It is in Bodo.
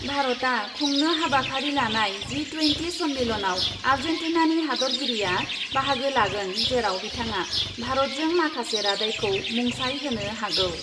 भारतआ खुंनो हाबाफारि लानाय जि टुयेन्टि सन्मेलनआव आर्जेन्टिनानि हादतगिरिया बाहागो लागोन, जेराव बिथाङा भारतजों माखासे रादायखौ मुंसाइ होनो हागौ ।